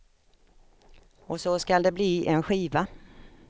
Och så skall det bli en skiva.